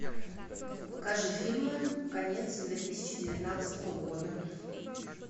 покажи фильмы конец две тысячи девятнадцатого года